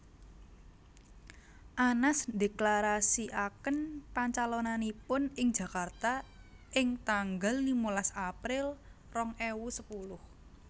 Anas ndheklarasikaken pancalonanipun ing Jakarta ing tanggal limalas April rong ewu sepuluh